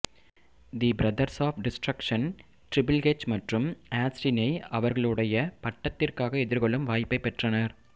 the brothers of destruction triple H மற்றும் ஆஸ்டினை அவர்களுடைய பட்டத்திற்காக எதிர்கொள்ளும் வாய்ப்பைப் பெற்றனர்